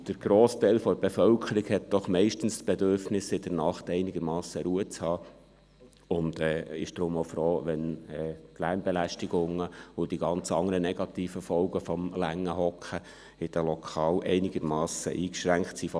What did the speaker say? Der grosse Teil der Bevölkerung hat doch meist das Bedürfnis, in der Nacht einigermassen Ruhe zu haben und ist deshalb auch froh, wenn die Lärmbelästigungen und die ganzen anderen negativen Folgen des langen Sitzens in den Lokalen einigermassen eingeschränkt sind.